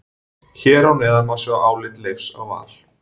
Hér að neðan má sjá álit Leifs á Val.